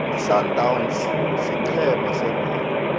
isundowns sigcema sebholo